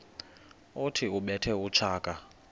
othi ubethe utshaka